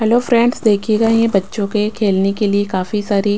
hello friends देखिएगा ये बच्चों के खेलने के लिए काफी सारी --